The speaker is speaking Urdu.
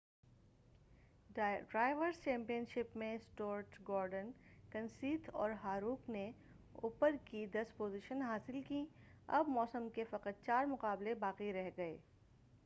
ڈرائیورس چیمپین شپ میں سٹورٹ گورڈن کنسیتھ اور ہاروک نے اوپر کی دس پوزیشن حاصل کی اب موسم کے فقط چار مقابلے باقی رہ گئے